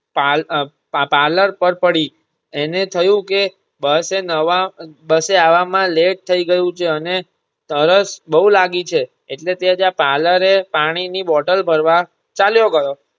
પાલ અમ પા parlor પર પડી એને થયું કે બસે નવા બસે આવા માં late થઇ ગયું છે અને તરસ બોવ લાગી છે એટલે તે ત્યાં parlor એ પાણીની bottle ભરવા ચાલ્યો ગયો.